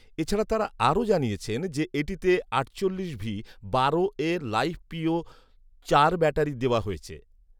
এছাড়া তাঁরা আরও জানিয়েছেন যে, এটিতে আটচল্লিশ ভি বারো এ লাইফপিও চার ব্যাটারি দেওয়া হয়েছে